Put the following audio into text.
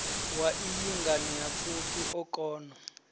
wa iyi nganeapfufhi o kona